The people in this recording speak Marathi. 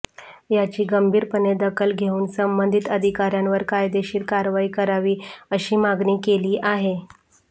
याची गंभीरपणे दखल घेऊन संबंधीत अधिकाऱ्यांवर कायदेशीर कारवाई करावी अशी मागणी केली आहे